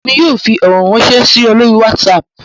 Èmi yóò fí ọrọ ránṣẹ si ọ lori whatsapp